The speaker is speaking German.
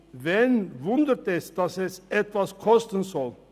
Wen wundert es, dass das etwas kosten soll.